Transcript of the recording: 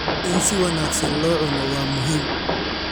In si wanaagsan loo cuno waa muhiim.